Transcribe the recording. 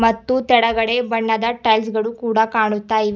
ಮತ್ತು ಕೆಳಗಡೆ ಬಣ್ಣದ ಟೈಲ್ಸ್ ಗಳು ಕೂಡ ಕಾಣುತ್ತಾ ಇವೆ.